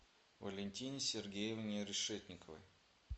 валентине сергеевне решетниковой